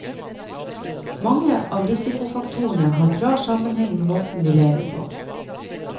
Mange av risikofaktorene har klar sammenheng med måten vi lever på.